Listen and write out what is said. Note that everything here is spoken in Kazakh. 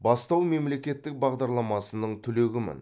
бастау мемлекеттік бағдарламасының түлегімін